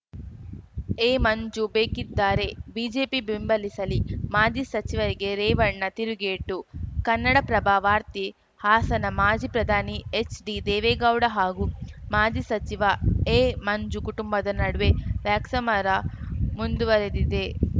A Manju ಬೇಕಿದ್ದಾರೆ BJP ಬೆಂಬಲಿಸಲಿ ಮಾಜಿ ಸಚಿವಗೆ ರೇವಣ್ಣ ತಿರುಗೇಟು ಕನ್ನಡಪ್ರಭ ವಾರ್ತೆ ಹಾಸನ ಮಾಜಿ ಪ್ರಧಾನಿ ಎಚ್‌ಡಿ ದೇವೇಗೌಡ ಹಾಗೂ ಮಾಜಿ ಸಚಿವ ಎಮಂಜು ಕುಟುಂಬದ ನಡುವೆ ವ್ಯಾಕ್ಸಮರ ಮುಂದುವರೆದಿದೆ